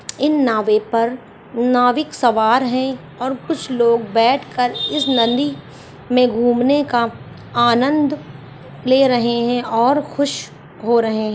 इन नावें पर नाविक सवार हैं और कुछ लोग बैठकर इस नदी में घूमने का आनंद ले रहे हैं और खुश हो रहे --